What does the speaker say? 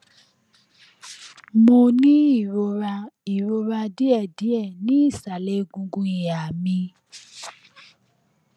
mo ń ní ìrora ìrora díẹdíẹ ní ìsàlẹ egungun ìhà mi